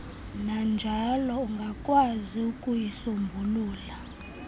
nanjalo ungakwaziyo ukuyisombulula